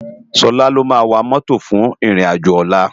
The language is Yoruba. Sola ló má wá mòtó fún iron ájó òlá